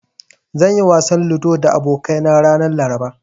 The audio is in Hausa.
Zan yi wasan ludo da abokaina ranar Laraba.